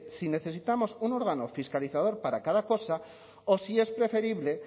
si necesitamos un órgano fiscalizador para cada cosa o si es preferible